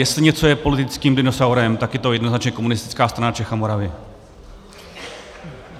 Jestli je něco politickým dinosaurem, tak je to jednoznačně Komunistická strana Čech a Moravy.